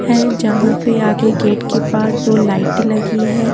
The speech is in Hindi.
है जहां पे आगे गेट के पास दो लाइटे लगी है।